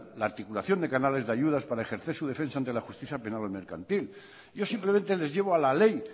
la articulación de canales de ayudas para ejercer su defensa ante la justicia penado mercantil yo simplemente les llevo a la ley